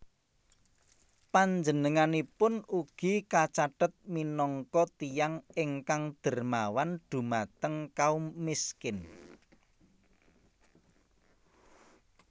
Panjenenganipun ugi kacathet minangka tiyang ingkang dermawan dhumateng kaum miskin